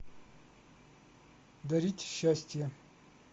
дарить счастье